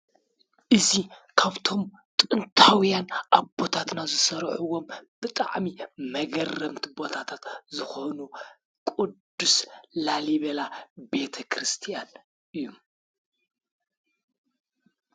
እዙ ካብቶም ጥንታውያን ኣቦታትና ዘሠርዕዎም ብጥዕሚ መገረምቲ ቦታታት ዝኾኑ ቅዱስ ላሊቤላ ቤተ ክርስቲያን እዩ